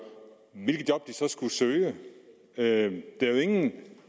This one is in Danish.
skal søge det er jo ingen